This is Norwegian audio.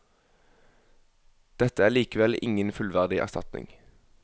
Dette er likevel ingen fullverdig erstatning.